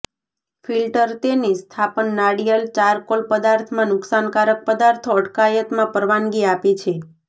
filter તેની સ્થાપન નારિયેળ ચારકોલ પદાર્થમાં નુકસાનકારક પદાર્થો અટકાયતમાં પરવાનગી આપે છે